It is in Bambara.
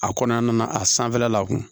A kɔnɔna na a sanfɛla la a kun